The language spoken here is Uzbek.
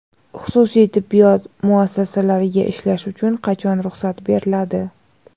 Xususiy tibbiyot muassasalariga ishlash uchun qachon ruxsat beriladi?.